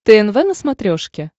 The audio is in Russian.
тнв на смотрешке